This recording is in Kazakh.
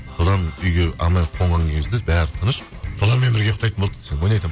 содан үйге қонған кезде бәрі тыныш солармен бірге ұйықтайтын болдық десең ойнап айтамын